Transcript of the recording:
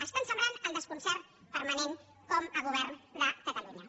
estan sembrant el desconcert permanent com a govern de catalunya